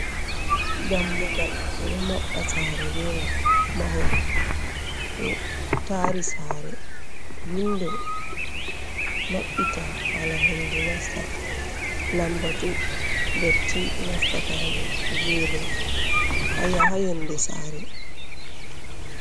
Dammugal ɗo maɓɓa sare be mai, mahol ɗo tari sare, windo maɓɓita hala hendu nasta, lambatu dotti nasta ha nder, gene haa yonde sare.